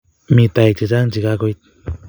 Mi toek chechang' che kakoit